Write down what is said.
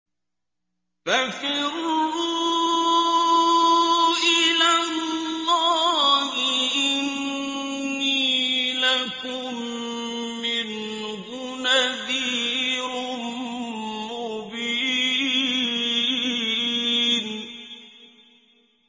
فَفِرُّوا إِلَى اللَّهِ ۖ إِنِّي لَكُم مِّنْهُ نَذِيرٌ مُّبِينٌ